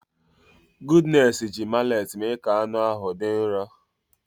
Goodness ji mallet mee ka anụ ahụ dị nro.